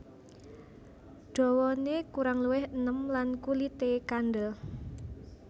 Dawané kurang luwih enem lan kulité kandêl